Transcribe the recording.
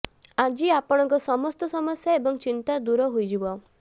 ଆଜି ଆପଣଙ୍କ ସମସ୍ତ ସମସ୍ୟା ଏବଂ ଚିନ୍ତା ଦୂର ହୋଇଯିବ